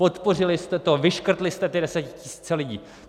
Podpořili jste to, vyškrtli jste ty desetitisíce lidí!